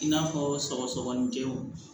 I n'a fɔ sɔgɔsɔgɔnijɛw